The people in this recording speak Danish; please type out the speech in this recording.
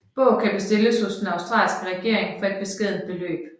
Bog kan bestilles hos den australske regering for et beskedent beløb